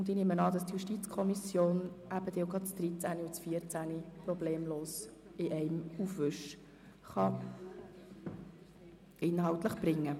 Ich nehme an, dass die JuKo dann auch gleich die Themenblöcke 13 und 14 problemlos in einem Votum behandeln kann.